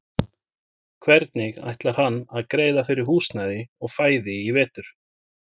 Hvernig ætlar hann að greiða fyrir húsnæði og fæði í vetur?